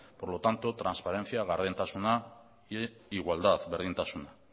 por lo tanto transparencia gardentasuna e igualdad berdintasuna